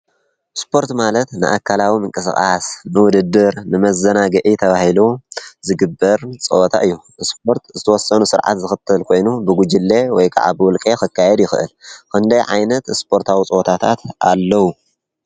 ስፖርት ማለት ኣካላዊ ምንቅስቃስ ንውድድር፣ ንመዘናግዒ ተብሂሉ ዝግበር ጸወታ እዩ፡፡ ስፖርት ዝተወሰኑ ስርዓት ዝኽተል ኮይኑ ብጕጅለ ወይ ከዓ ብውልቄ ኽካየድ ይኽእል፡፡ ክንደይ ዓይነት ስፖርታዊ ፀወታታት ኣለዉ?